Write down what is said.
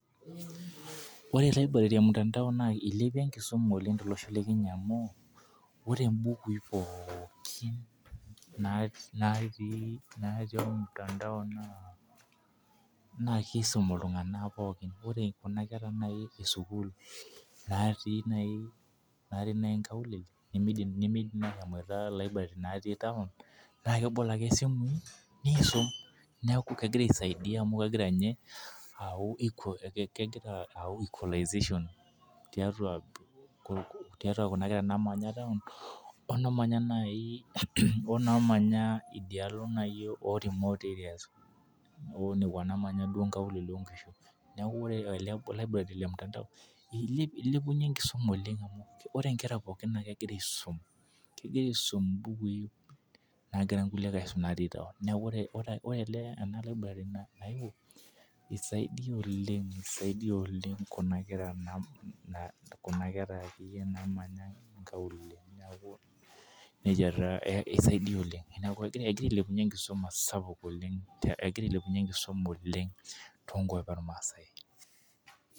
Ore library e mutandao Nas ilepieki enkisuma oleng tolosho le Kenya amu, ore bukui pookin natii olmutandao naa kisumi iltunganak pookin. Ore Kuna kera esukuul natii nkaulele, neidim ashomoito library natii taon. naa kebolo ake esimu niisum. Naa kegira aisaidia amu, kegira ayau equalization tiatua Kuna kera naamanya taon onaamanya idialo naaji oo remote areas nekua naamanya nkaulele, oo nkishu, neeku ore library le mutandao, ilepunye enkisuma oleng, ore nkera pookin naa kegira aisum, kegira aisum mbukui, naagira nkulie aisum natii taon. Neeku ore ele ena library nayewuo isaidia oleng, Kuna kera akeyie naamanya nkaulele, egira ailepunye enkisuma sapuk.